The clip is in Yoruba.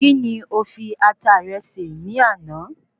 Kí ni o fi Ata rẹ ṣe ní àná?